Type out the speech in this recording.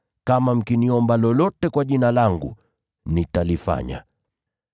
Kama mkiniomba lolote kwa Jina langu nitalifanya.